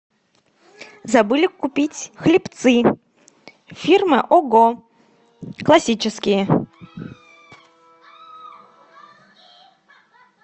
забыли купить хлебцы фирма ого классические